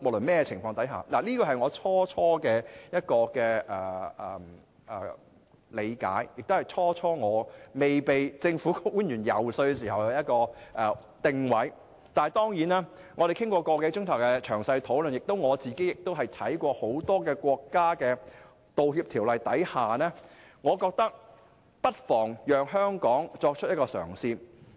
這是我最初期的理解，亦是我未被政府官員遊說時的定位，但經過個多小時的詳細討論後，加上我亦參考了很多國家的道歉法例，我現在認為不妨讓香港作出一個嘗試。